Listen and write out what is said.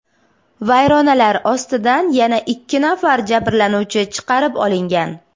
Vayronalar ostidan yana ikki nafar jabrlanuvchi chiqarib olingan.